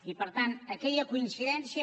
i per tant aquella coincidència